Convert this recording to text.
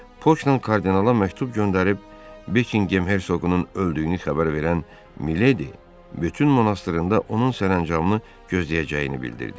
Fokla kardinala məktub göndərib Bekingham Hersoqunun öldüyünü xəbər verən Miledi Betun monastrında onun sərəncamını gözləyəcəyini bildirdi.